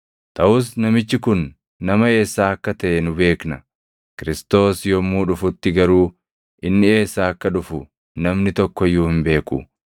Taʼus namichi kun nama eessaa akka taʼe nu beekna. Kiristoos yommuu dhufutti garuu inni eessaa akka dhufu namni tokko iyyuu hin beeku.”